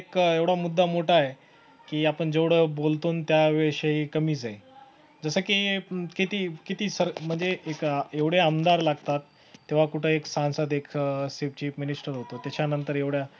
का एवढा मुद्दा मोठा आहे की आपण जेवढं बोलतो आणि त्या विषयी कमीच आहे जसं की किती किती सर म्हणजे एक एवढ्या आमदार लागतात तेव्हा कुठं एक सांसद एक अह chief minister होतो त्याच्या नंतर एवढ्या